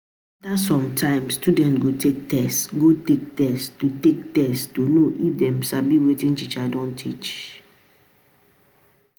After some time student go take test to take test to take know if dem sabi wetin teacher don teach